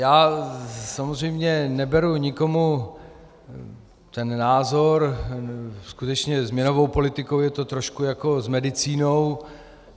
Já samozřejmě neberu nikomu ten názor, skutečně s měnovou politikou je to trošku jako s medicínou.